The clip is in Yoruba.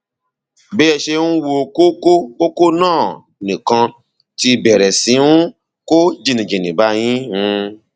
bí ẹ ṣe ń wo kókó kókó náà nìkan ti bẹrẹ sí um kó jìnnìjìnnì bá yín um